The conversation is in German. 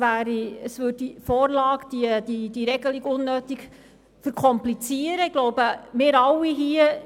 Die Vorlage würde unnötig verkompliziert werden.